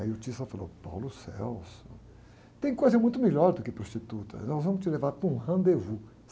Aí o falou, tem coisa muito melhor do que prostituta, nós vamos te levar para um rendezvous.